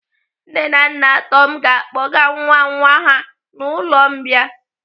Nne na nna Tom ga-akpọga nwa nwa ha n'ụlọ mbìa.